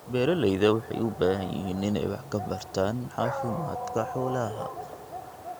Beeralayda waxay u baahan yihiin inay wax ka bartaan caafimaadka xoolaha.